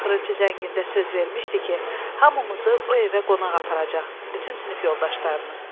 Axırıncı zəngində söz vermişdi ki, hamımızı o evə qonaq aparacaq, bütün sinif yoldaşlarını.